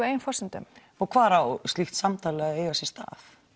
eigin forsendum hvar á slíkt samtal að eiga sér stað